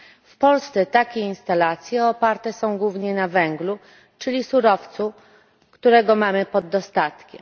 W Polsce takie instalacje oparte są głównie na węglu, czyli surowcu, którego mamy pod dostatkiem.